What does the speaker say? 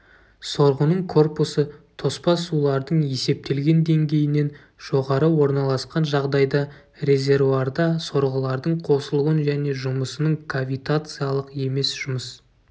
сорғының корпусы тоспа сулардың есептелген деңгейінен жоғары орналасқан жағдайда резервуарда сорғылардың қосылуын және жұмысының кавитациялық емес жұмыс